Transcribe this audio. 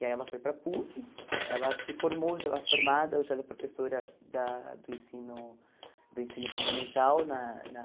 E aí ela foi para a PUC, ela se formou, já era formada, já era professora da do ensino do ensino fundamental na na